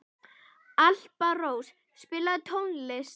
Alparós, spilaðu tónlist.